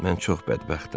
Mən çox bədbəxtəm.